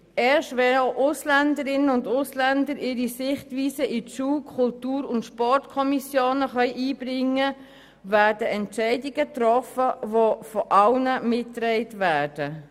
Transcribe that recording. Erst wenn auch Ausländerinnen und Ausländer ihre Sichtweisen in die Schul-, Kultur- und Sportkommissionen einbringen können, werden Entscheide getroffen, die von allen mitgetragen werden.